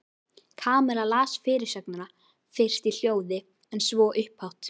Kamilla las fyrirsögnina fyrst í hljóði en svo upphátt.